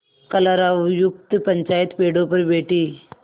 कलरवयुक्त पंचायत पेड़ों पर बैठी